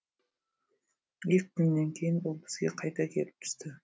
екі күннен кейін ол бізге қайта келіп түсті